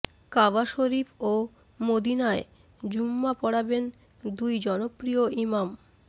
কাবা শরিফ ও মদিনায় জুমআ পড়াবেন দুই জনপ্রিয় ইমাম